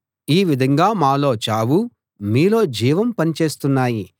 ఈ విధంగా మాలో చావూ మీలో జీవమూ పని చేస్తున్నాయి